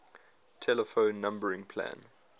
telephone numbering plan